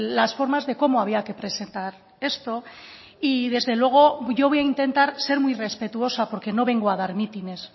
las formas de cómo había que presentar esto y desde luego yo voy a intentar ser muy respetuosa porque no vengo a dar mítines